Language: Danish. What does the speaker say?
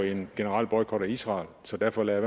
en generel boykot af israel så derfor lader